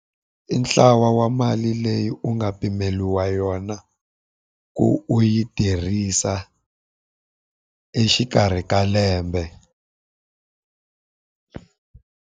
I ntlawa wa mali leyi u nga pimeriwa yona ku u yi tirhisa exikarhi ka lembe.